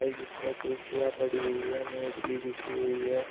इसमें कुर्सियां पड़ी हुई है मेज भी बिछी हुई है।